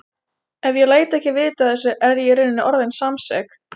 Ef ég læt ekki vita af þessu er ég í rauninni orðin samsek.